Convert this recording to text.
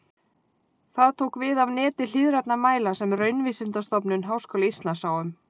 Það tók við af neti hliðrænna mæla sem Raunvísindastofnun Háskóla Íslands sá um.